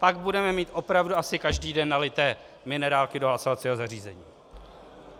Pak budeme mít opravdu asi každý den nalité minerálky do hlasovacího zařízení.